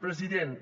president